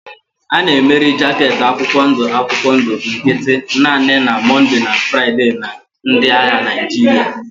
A na-emeri jaket akwụkwọ ndụ akwụkwọ ndụ nkịtị naanị na Mọnde na Fraịde na ndị agha Naịjirịa.